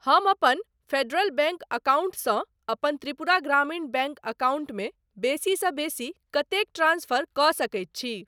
हम अपन federal bank account सँ अपन त्रिपुरा ग्रामीण बैंक अकाउंट मे बेसीसँ बेसी कतेक ट्रांस्फर कऽ सकैत छी?